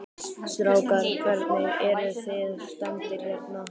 Strákar, hvernig, eruð þið stemmdir hérna?